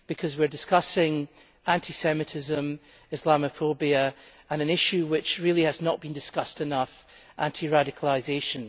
We are discussing anti Semitism, Islamophobia and an issue which really has not been discussed enough, anti-radicalisation.